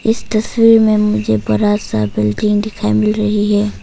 इस तस्वीर में मुझे बड़ा सा बिल्डिंग दिखाई मिल रही है।